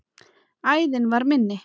Æðin var minni.